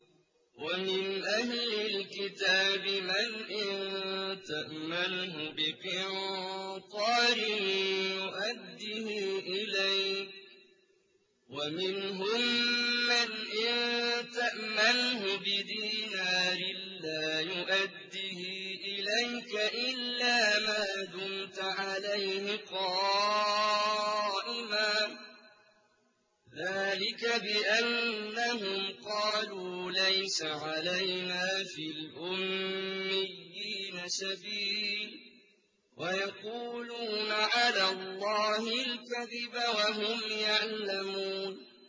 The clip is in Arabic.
۞ وَمِنْ أَهْلِ الْكِتَابِ مَنْ إِن تَأْمَنْهُ بِقِنطَارٍ يُؤَدِّهِ إِلَيْكَ وَمِنْهُم مَّنْ إِن تَأْمَنْهُ بِدِينَارٍ لَّا يُؤَدِّهِ إِلَيْكَ إِلَّا مَا دُمْتَ عَلَيْهِ قَائِمًا ۗ ذَٰلِكَ بِأَنَّهُمْ قَالُوا لَيْسَ عَلَيْنَا فِي الْأُمِّيِّينَ سَبِيلٌ وَيَقُولُونَ عَلَى اللَّهِ الْكَذِبَ وَهُمْ يَعْلَمُونَ